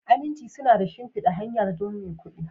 Aminci suna da shimfidar hanya don maikudi